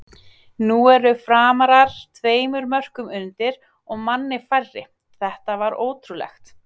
Nú eru Framarar tveimur mörkum undir og manni færri, þetta var ótrúlegt!!